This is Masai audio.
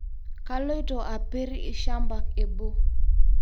Kaloito apir lshamba ebo